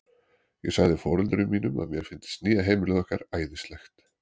Ég sagði foreldrum mínum að mér fyndist nýja heimilið okkar æðislegt.